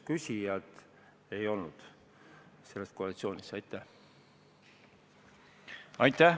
Aitäh!